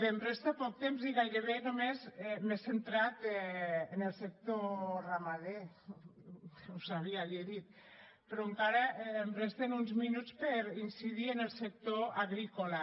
em resta poc temps i gairebé només m’he centrat en el sector ramader ho sabia li he dit però encara em resten uns minuts per incidir en el sector agrícola